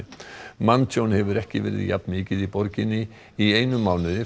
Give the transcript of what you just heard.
manntjón hefur ekki verið jafn mikið í borginni í einum mánuði